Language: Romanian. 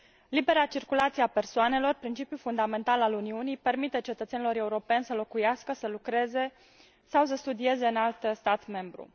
Libera circulație a persoanelor, principiul fundamental al Uniunii, permite cetățenilor europeni să locuiască, să lucreze sau să studieze în alt stat membru.